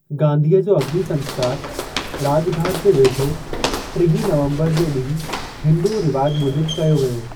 गांधीअ जो अग्निसंस्‍कार राॼघाट जे वेझो 30 नवंबर जे ॾींहुं हिंदू रिवाज मूजिबि कयो वियो।